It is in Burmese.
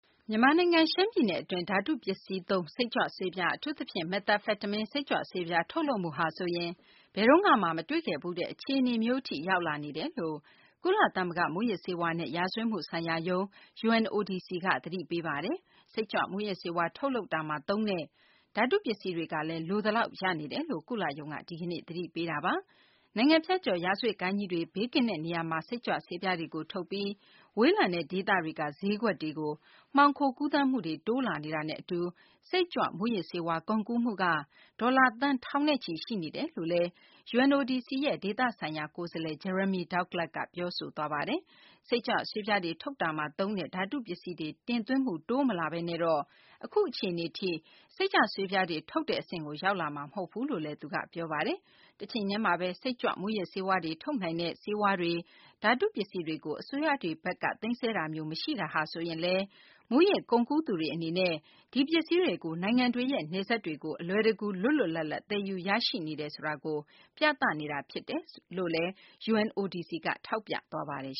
မြန်မာနိုင်ငံ ရှမ်းပြည်နယ်အတွင်း ဓာတုပစ္စည်းသုံး စိတ်ကြွဆေးပြား - အထူးသဖြင့် မက်သာဖက်တမင်း စိတ်ကြွဆေးပြားတွေ ထုတ်လုပ်မှုဟာဆိုရင် ဘယ်တုန်းကမှ မတွေ့ခဲ့ဖူးရတဲ့ အခြေအနေမျိုး အထိကို ရောက်လာနေတယ်လို့ ကုလသမဂ္ဂ မူးယစ်ဆေးဝါးနဲ့ ရာဇဝတ်မှုဆိုင်ရာရုံး UNODC က သတိပေးလိုက်ပါတယ်။ စိတ်ကြွမူးယစ်ဆေးဝါး ထုတ်လုပ်ရာမှာ သုံးတဲ့ ဓာတုပစ္စည်းတွေကလည်း လိုသလောက် ရနေတယ်လို့ ကုလရုံးက ဒီကနေ့ သတိပေးတာပါ။ နိုင်ငံဖြတ်ကျော် ရာဇဝတ် ဂိုဏ်းကြီးတွေ ဘေးကင်းတဲ့ နေရာမှာ စိတ်ကြွဆေးပြားတွေကို ထုတ်ပြီး ဝေးလံတဲ့ ဒေသတွေက ဈေးကွက်တွေကို မှောင်ခိုကူးသန်းမှုတွေ တိုးလာနေတာနဲ့ အတူ စိတ်ကြွ မူးယစ်ဆေးဝါး ကုန်ကူးမှုက ဒေါ်လာ သန်း ထောင်နဲ့ချီ ရှိနေတယ်လို့လည်း UNODC ရဲ့ ဒေသဆိုင်ရာ ကိုယ်စားလှယ် Jeremy Douglas က ပြောဆိုသွားတာ ဖြစ်ပါတယ်။ စိတ်ကြွဆေးပြားတွေ ထုတ်ရာမှာ သုံးတဲ့ ဓာတု ပစ္စည်းတွေ တင်သွင်းမှု တိုးမလာဘဲနဲ့တော့ အခုအခြေအနေထိ စိတ်ကြွဆေးပြာတွေ ထုတ်တဲ့ အဆင့်ကို ရောက်လာမှာ မဟုတ်ဘူးလို့လည်း သူက ထပ်လောင်း ပြောပါတယ်။ တချိန်တည်းမှာဘဲ စိတ်ကြွ မူးယစ်ဆေးဝါးတွေ ထုတ်နိုင်တဲ့ ဆေးဝါးတွေ၊ ဓာတု ပစ္စည်းတွေကို အစိုးရတွေဘက်က သိမ်းဆည်းတာမျိုး မရှိတာဟာဆိုရင် မူးယစ်ကုန်ကူးသူတွေ အနေနဲ့ ဒီပစ္စည်းတွေကို နိုင်ငံတွေရဲ့ နယ်စပ်တွေကို အလွယ်တကူ လွတ်လွတ်လပ်လပ် သယ်ယူရရှိနေ တယ်ဆိုတာကို ပြသနေတာ ဖြစ်တယ်လို့လည်း UNODC က ထောက်ပြသွားပါတယ်